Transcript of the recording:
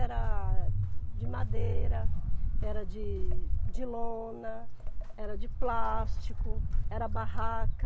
Era de madeira, era de de lona, era de plástico, era barraca.